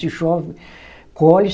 Se chove, colhe.